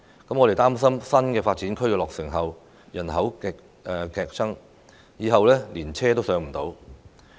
他們擔心新發展區落成後人口劇增，日後連車也擠不上。